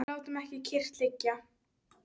Við látum ekki kyrrt liggja.